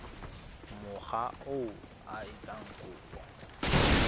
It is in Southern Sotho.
mokga oo a etsang kopo